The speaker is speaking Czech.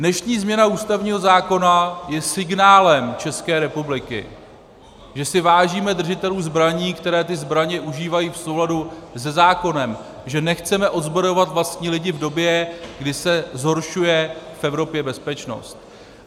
Dnešní změna ústavního zákona je signálem České republiky, že si vážíme držitelů zbraní, které ty zbraně užívají v souladu se zákonem, že nechceme odzbrojovat vlastní lidi v době, kdy se zhoršuje v Evropě bezpečnost.